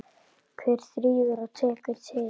Hver þrífur og tekur til?